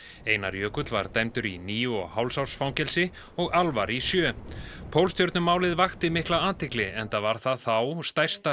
einar Jökull var dæmdur í níu og hálfs árs fangelsi og Alvar í sjö pólstjörnumálið vakti mikla athygli enda var það þá stærsta